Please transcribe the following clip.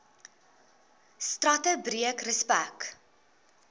strate breek respek